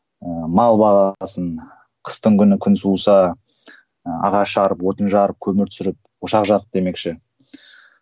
ыыы мал бағасың қыстың күні күн суыса ыыы ағаш жарып отын жарып көмір түсіріп ошақ жағып демекші